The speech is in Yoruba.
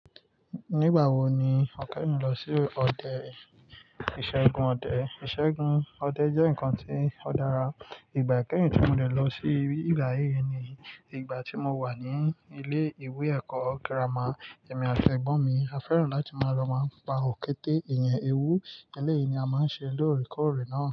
Nígbà wo ni ọ̀kẹ́ẹ̀nu lọ sí ọdẹ, ìṣẹ́gun ọdẹ. Ìṣẹ́gun ọdẹ jẹ́ nǹkan tí ó dára. Ìgbà kẹ́yìn tí mo dẹ̀ lọ sí ìbà yí ni ìgbà tí mo wà ní ilé ìwé ẹ̀kọ́ girama. Ẹ̀mi àti ẹ̀gbọ́n mi á fẹ́ràn láti máa lọ máa pa òkété, èyàn, ewu. Eléyìí ni a máa ń ṣe lórè kórènáà.